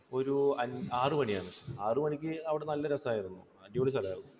ഒരു അഞ്ആറുമണി ആണ്. ആറു മണിക്ക് അവിടെ നല്ല രസമായിരുന്നു. അടിപൊളി സ്ഥലം ആയിരുന്നു.